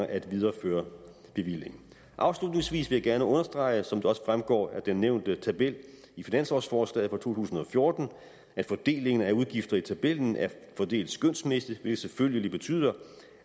at videreføre bevillingen afslutningsvis vil jeg gerne understrege som det også fremgår af den nævnte tabel i finanslovsforslaget for to tusind og fjorten at fordelingen af udgifter i tabellen er fordelt skønsmæssigt hvilket selvfølgelig betyder